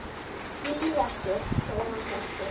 Ég lýg ekki, segir hann hvekktur.